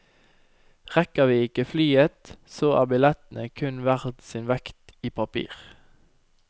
Rekker vi ikke flyet, så er billettene kun verd sin vekt i papir.